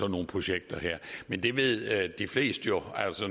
nogle projekter her men det ved de fleste jo